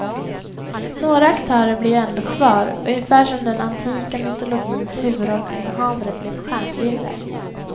Några aktörer blir ju ändå kvar, ungefär som den antika mytologins huvudrollsinnehavare blev stjärnbilder.